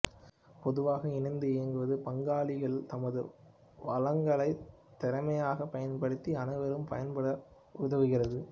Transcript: பொதுவாக இணைந்து இயங்குவது பங்களாகிகள் தமது வளங்களை திறமையாகப் பயன்படுத்தி அனைவரும் பயன்பெற உதவுகிறது